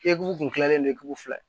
Egu kun dilannen don k'u fila ye